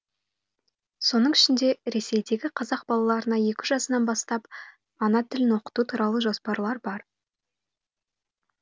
соның ішінде ресейдегі қазақ балаларына екі жасынан бастап ана тілін оқыту туралы жоспар бар